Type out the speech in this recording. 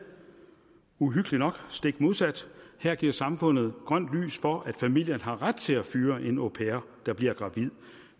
uhyggeligt nok stik modsat her giver samfundet grønt lys for at familien har ret til at fyre en au pair der bliver gravid